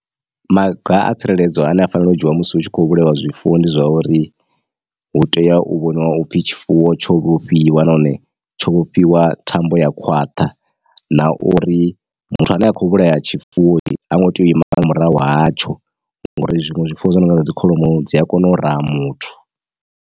Maga a tsireledzo ane a fanela u dzhiiwa musi hu tshi kho vhulaiwa zwifuwo ndi zwa uri hu tea u vhoniwa upfhi tshifuwo tsho vhofhiwa nahone tsho vhofhiwa thambo ya khwaṱha, na uri muthu ane akho vhulaya tshifuwo ha ngo tea u ima nga murahu hatsho ngori zwinwe zwifuwo zwi no nga dzi kholomo dzi a kona u raha muthu.